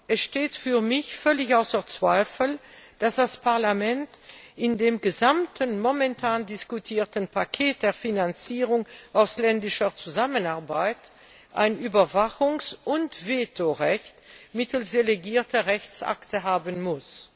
Es steht für mich völlig außer Zweifel, dass das Parlament in dem gesamten momentan diskutierten Paket der Finanzierung ausländischer Zusammenarbeit ein Überwachungs und Vetorecht mittels delegierter Rechtsakte haben muss.